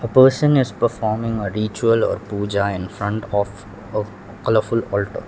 a person is performing a ritual or pooja in front of a colourful .